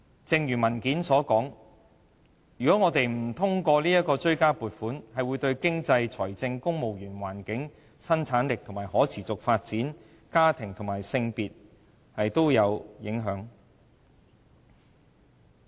正如文件所說，如果我們不通過這項追加撥款，便會對經濟、財政、公務員、環境、生產力、可持續發展、家庭和性別議題等也造成影響。